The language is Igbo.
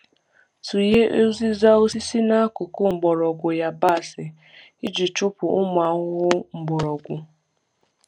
Tinye uziza osisi n’akụkụ mgbọrọgwụ yabasị iji chụpụ ụmụ ahụhụ mgbọrọgwụ.